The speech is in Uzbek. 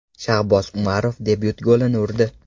Shahboz Umarov debyut golini urdi.